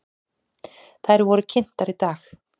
Þær voru kynntar í dag.